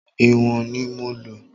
Ìwọ̀n ni mo lò.